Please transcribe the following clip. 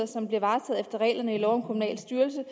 som bliver varetaget efter reglerne i lov om kommunal styrelse